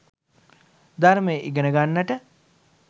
ධර්මය ඉගෙන ගන්නට